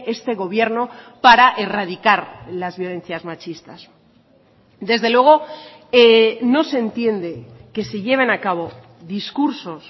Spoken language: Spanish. este gobierno para erradicar las violencias machistas desde luego no se entiende que se lleven a cabo discursos